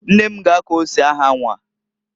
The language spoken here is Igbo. Nne m g' akọ ose ahanwa.